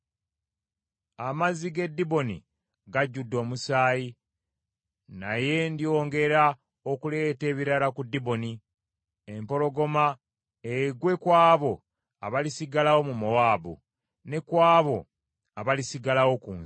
Amazzi g’e Diboni gajjudde omusaayi, naye ndyongera okuleeta ebirala ku Diboni; empologoma egwe ku abo abalisigalawo mu Mowaabu, ne ku abo abalisigalawo ku nsi.